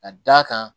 Ka d'a kan